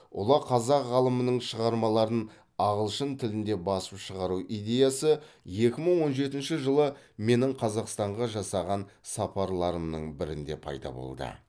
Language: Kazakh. ұлы қазақ ғалымының шығармаларын ағылшын тілінде басып шығару идеясы екі мың он жетінші жылы менің қазақстанға жасаған сапарларымның бірінде пайда болды